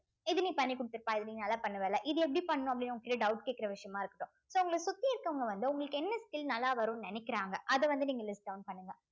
இது நீ பண்ணி கொடுத்திருப்பா இத நீ நல்லா பண்ணுவே இல்ல இது எப்படி பண்ணணும் அப்படின்னு உங்ககிட்ட doubt கேட்கிற விஷயமா இருக்கட்டும் so உங்களை சுத்தி இருக்கவுங்க வந்து உங்களுக்கு என்ன skill நல்லா வரும்ன்னு நினைக்கிறாங்க அத வந்து நீங்க list down பண்ணுங்க